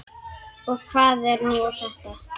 Og hvað var nú þetta!